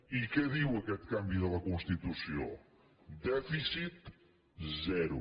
i què diu aquest canvi de la constitució dèficit zero